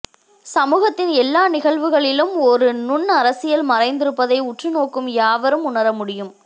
சமூகத்தின் எல்லா நிகழ்வுகளிலும் ஒரு நுண் அரசியல் மறைந்திருப்பதை உற்று நோக்கும் யாவரும் உணரமுடியும்